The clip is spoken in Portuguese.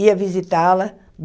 ia visitá-la.